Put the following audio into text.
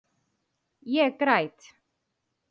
Ég græt.